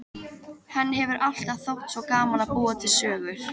Henni hefur alltaf þótt svo gaman að búa til sögur.